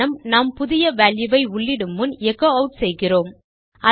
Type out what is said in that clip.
காரணம் நாம் புதியvalue வை உள்ளிடும் முன் எகோ அவுட் செய்கிறோம்